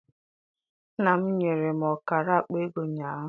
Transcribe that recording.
Nna m nyere ọkara akpa ego ụnyaahụ.